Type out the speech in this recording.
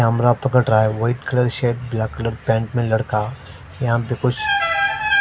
यहाँ पर कुछ --